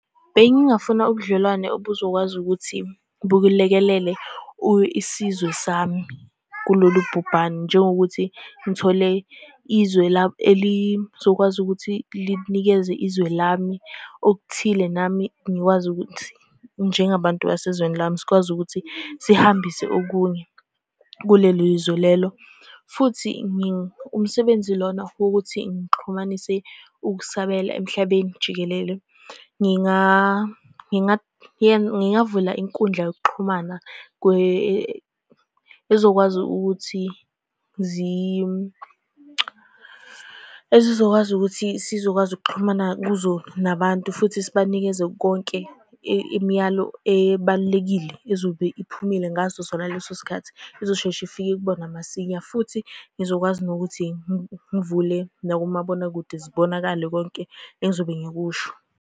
Bengingafuna ubudlelwane obuzokwazi ukuthi, bulekelele isizwe sami kulolu bhubhane, njengokuthi ngithole izwe elizokwazi ukuthi linikeze izwe lami okuthile. Nami ngikwazi ukuthi njengabantu basezweni lami sikwazi ukuthi sihambise okunye kulelo lizwe lelo, futhi umsebenzi lona wokuthi ngixhumanise ukusabela emhlabeni jikelele. Ngingavula inkundla yokuxhumana ezokwazi ukuthi, ezizokwazi ukuthi sizokwazi ukuxhumana kuzo nabantu, futhi sibanikeze konke imiyalo ebalulekile ezobe iphumile ngaso sona leso sikhathi. Izosheshe ifike kubona masinya, futhi ngizokwazi nokuthi ngivule nakumabonakude zibonakale konke engizobe ngikusho.